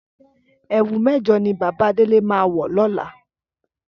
Ẹ̀wù Méjọ̀ ni Bàbá Délé máa wọ̀ lọ́la.